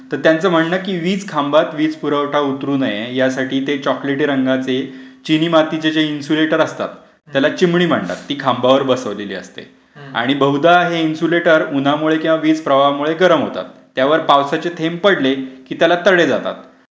तर त्यांचं म्हणणं आहे की, वीज खांबात वीज पुरवठा उतरू नये यासाठी ते चॉकलेटी रंगाचे. चिनी मातीची जे इन्सुलेटर असतात त्याला चिमनी म्हणतात ती खांबावर बसवलेली असते. आणि बहुदा हे इन्सुलटर उन्हामुळे किंवा वीज प्रभावामुळे गरम होतात. त्यावर पावसाचे थेंब पडले कि त्याला तडे जातात.